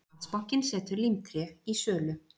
Landsbankinn setur Límtré í sölu